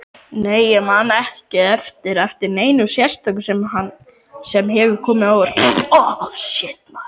Nei ég man ekki eftir neinu sérstöku sem hefur komið á óvart.